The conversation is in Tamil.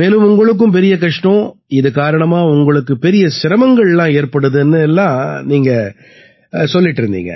மேலும் உங்களுக்கும் பெரிய கஷ்டம் இது காரணமா உங்களுக்கு பெரிய சிரமங்கள்லாம் ஏற்படுதுன்னு எல்லாம் நீங்க சொல்லிட்டு இருந்தீங்க